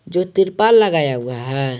जो तिरपाल लगाया हुआ है।